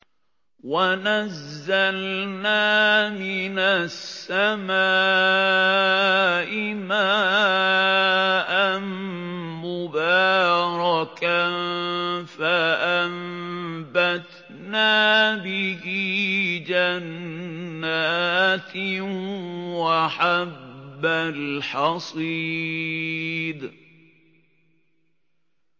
وَنَزَّلْنَا مِنَ السَّمَاءِ مَاءً مُّبَارَكًا فَأَنبَتْنَا بِهِ جَنَّاتٍ وَحَبَّ الْحَصِيدِ